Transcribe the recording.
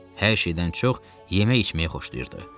Hər şeydən çox yemək içməyi xoşlayırdı.